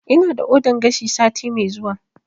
Ina da ordan gashi sati mai zuwa